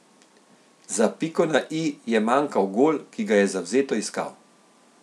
Za piko na i je manjkal gol, ki ga je zavzeto iskal.